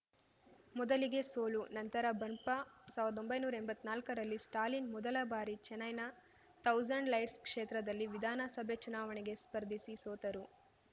ಮೊದಲಿಗೆ ಸೋಲು ನಂತರ ಬಂಪ ಸಾವ್ರ್ದೊಂಬೈನೂರಾ ಎಂಬತ್ನಾಲ್ಕರಲ್ಲಿ ಸ್ಟಾಲಿನ್‌ ಮೊದಲ ಬಾರಿ ಚೆನ್ನೈನ ಥೌಸಂಡ್‌ ಲೈಟ್ಸ್‌ ಕ್ಷೇತ್ರದಲ್ಲಿ ವಿಧಾನಸಭೆ ಚುನಾವಣೆಗೆ ಸ್ಪರ್ಧಿಸಿ ಸೋತರು